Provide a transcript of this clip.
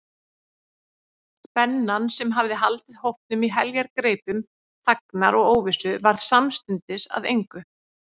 Spennan, sem hafði haldið hópnum í heljargreipum þagnar og óvissu, varð samstundis að engu.